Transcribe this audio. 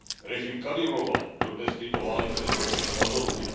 Režim Kadyrova dodnes tyto válečné zločiny adoruje.